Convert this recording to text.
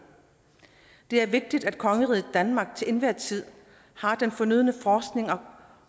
det er vigtigt at kongeriget danmark til enhver tid har den fornødne forskning og